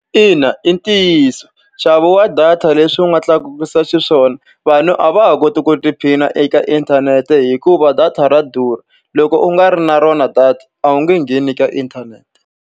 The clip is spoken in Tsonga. Ina i ntiyiso nxavo wa data leswi u nga tlakusisa xiswona, vanhu a va ha koti ku tiphina eka inthanete hikuva data ra durha. Loko u nga ri na rona data a wu nge ngheni ka inthanete.